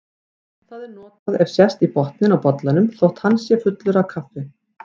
Það er notað ef sést í botninn á bollanum þótt hann sé fullur af kaffi.